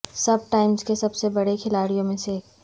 سب times کے سب سے بڑے کھلاڑیوں میں سے ایک